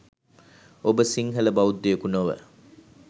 ඔබ සිංහල බෞද්ධයකු නොව